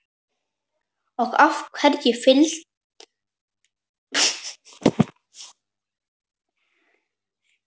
Og af hverju fyllsta aðgát?